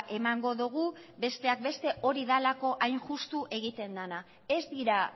emango dugu besteak beste hori delako hain justu egiten da ez dira